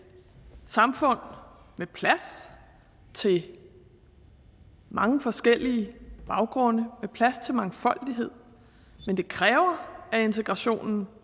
samfund med plads til mange forskellige baggrunde med plads til mangfoldighed men det kræver at integrationen